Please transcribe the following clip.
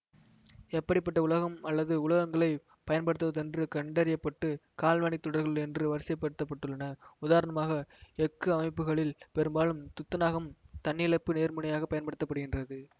எப்படி பட்ட உலகம் அல்லது உலகங்களை பயன்படுத்துவதென்று கண்டறிய பட்டு கால்வனிக் தொடர்கள் என்று வரிசைப்படுத்தப்பட்டுள்ளன உதாரணமாக எஃகு அமைப்புகளில் பெரும்பாலும் துத்தநாகம் தன்னிழப்பு நேர்முனையாகப் பயன்படுத்த படுகின்றது